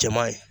Jɛman ye